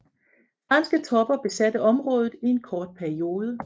Franske tropper besatte området i en kort periode